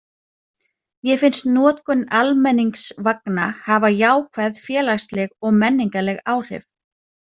Mér finnst notkun almenningsvagna hafa jákvæð félagsleg og menningarleg áhrif.